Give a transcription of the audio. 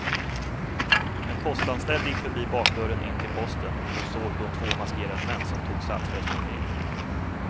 En postanställd gick förbi bakdörren in till posten och såg då två maskerade män som tog sats för att springa in.